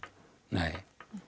nei